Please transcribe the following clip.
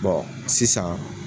Bɔn sisan